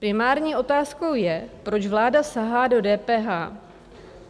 Primární otázkou je, proč vláda sahá do DPH.